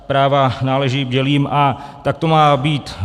Práva náležejí bdělým a tak to má být.